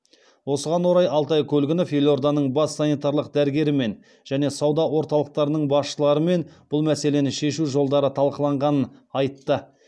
осыған орай алтай көлгінов елорданың бас санитарлық дәрігерімен және сауда орталықтарының басшыларымен бұл мәселені шешу жолдары талқыланғанын айтты